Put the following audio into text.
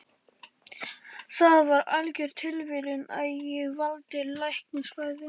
Það var algjör tilviljun að ég valdi læknisfræði.